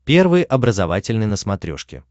первый образовательный на смотрешке